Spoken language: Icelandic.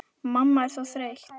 Mamma er svo þreytt.